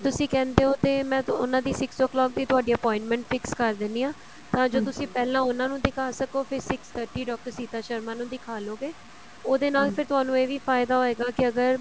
ਤੁਸੀਂ ਕਹਿੰਦੇ ਹੋ ਤੇ ਮੈ ਉਹਨਾ ਦੀ six o clock ਦੀ ਤੁਹਾਡੀ appointment fix ਕਰ ਦਿੰਨੀ ਆ ਤਾਂ ਜੋ ਤੁਸੀਂ ਪਹਿਲਾਂ ਉਹਨਾ ਨੂੰ ਦਿਖਾ ਸਕੋ ਫ਼ਿਰ six thirty doctor Sita Sharma ਦਿਖਾਲੋਗੇ ਉਹਦੇ ਨਾਲ ਫੇਰ ਤੁਹਾਨੂੰ ਇਹ ਵੀ ਫਾਈਦਾ ਹੋਏਗਾ ਕੀ ਅਗਰ